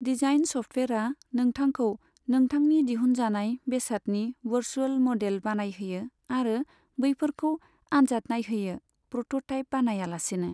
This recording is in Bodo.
डिजाइइन सफ्टवेरआ नोंथांखौ नोंथांनि दिहुनजानाय बेसादनि वर्चुअल मडेल बानायहोयो आरो बैफोरखौ आनजाद नायहोयो प्रोटोटाइप बानाया लासेनो।